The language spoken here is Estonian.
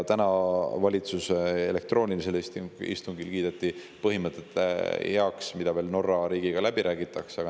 Täna kiideti valitsuse elektroonilisel istungil heaks põhimõtted, mis veel Norra riigiga läbi räägitakse.